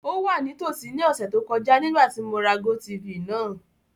O wa nitosi ni ọsẹ to kọja nigbati mo ra GoTv naa.